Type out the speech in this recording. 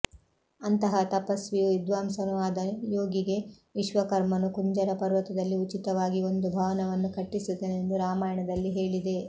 ಅಂತಹ ತಪಸ್ವಿಯೂ ವಿದ್ವಾಂಸನೂ ಆದ ಯೋಗಿಗೆ ವಿಶ್ವಕರ್ಮನು ಕುಂಜರ ಪರ್ವತದಲ್ಲಿ ಉಚಿತವಾಗಿ ಒಂದು ಭವನವನ್ನು ಕಟ್ಟಿಸಿದನೆಂದು ರಾಮಾಯಣದಲ್ಲಿ ಹೇಳಿದೆ